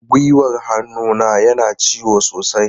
Gwiwar hannuna yana ciwo sosai.